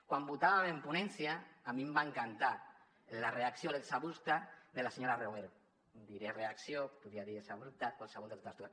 quan votàvem en ponència a mi em va encantar la reacció l’exabrupte de la senyora romero diré reacció podria dir exabrupte qualsevol de totes dues